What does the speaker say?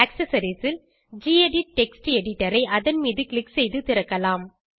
accessories ல் gedit text editor ஐ அதன் மீது க்ளிக் செய்து திறக்கலாம்